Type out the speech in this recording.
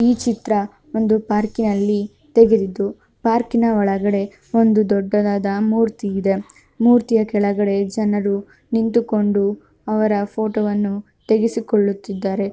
ಈ ಚಿತ್ರ ಒಂದು ಪಾರ್ಕಿನಲ್ಲಿ ತೆಗೆದಿದ್ದು ಪಾರ್ಕಿನ ಒಳಗಡೆ ಒಂದು ದೊಡ್ಡದಾದ ಮೂರ್ತಿ ಇದೆ. ಮೂರ್ತಿಯ ಕೆಳಗಡೆ ಜನರು ನಿಂತುಕೊಂಡು ಅವರ ಫೋಟೋವನ್ನು ತೆಗೆಸಿಕೊಳ್ಳುತ್ತಿದ್ದಾರೆ.